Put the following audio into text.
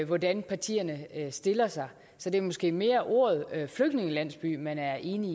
hvordan partierne stiller sig så det er måske mere ordet flygtningelandsby man er enig